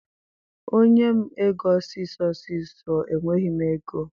Onye m ego ọsịsọ ọsịsọ, enweghị m oge.